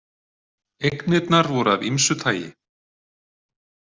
Eignirnar voru af ýmsu tagi.